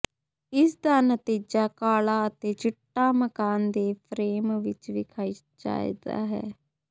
ਇਸ ਦਾ ਨਤੀਜਾ ਕਾਲਾ ਅਤੇ ਚਿੱਟਾ ਮਕਾਨ ਦੇ ਫਰੇਮ ਵਿੱਚ ਵਿਖਾਈ ਚਾਹੀਦਾ ਹੈ